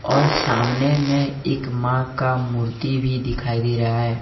और सामने में एक मां का मूर्ति भी दिखाई दे रहा है।